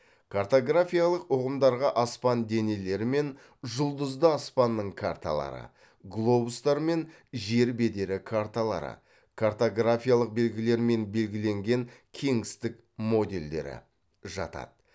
картографиялық ұғымдарға аспан денелері мен жұлдызды аспанның карталары глобустар мен жер бедері карталары картографиялық белгілермен белгіленген кеңістік модельдері жатады